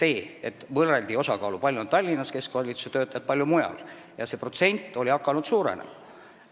Nimelt, võrreldi osakaalusid, kui palju on keskvalitsuse töötajaid Tallinnas ja mujal, ning see Tallinna protsent oli hakanud suurenema.